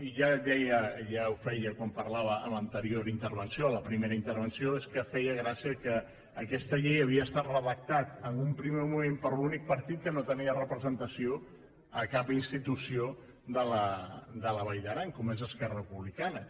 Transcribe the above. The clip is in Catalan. i ja ho deia ja ho feia quan parlava a l’anterior intervenció a la primera intervenció és que feia gràcia que aquesta llei havia estat redactada en un primer moment per l’únic partit que no tenia representació a cap institució de la vall d’aran com és esquerra republicana